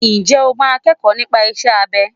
Ǹjẹ́ o máa kẹ́kọ̀ọ́ nípa iṣẹ́ abẹ?